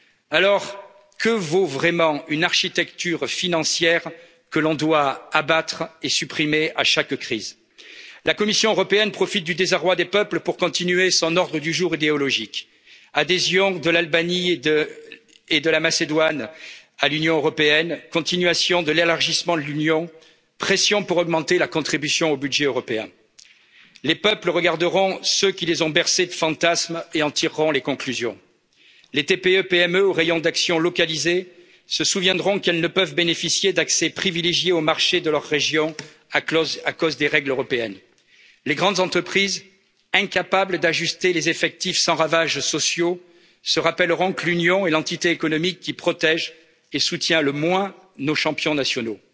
Alors que vaut vraiment une architecture financière que l'on doit abattre et supprimer à chaque crise? La Commission européenne profite du désarroi des peuples pour continuer son ordre du jour idéologique adhésion de l'Albanie et de la Macédoine à l'Union européenne, continuation de l'élargissement de l'Union, pression pour augmenter la contribution au budget européen. Les peuples regarderont ceux qui les ont bercés de fantasmes et en tireront les conclusions. Les TPE PME au rayon d'action localisé se souviendront qu'elles ne peuvent bénéficier d'accès privilégié aux marchés de leur région à cause des règles européennes. Les grandes entreprises incapables d'ajuster les effectifs sans ravages sociaux se rappelleront que l'Union est l'entité économique qui protège et soutient le moins nos champions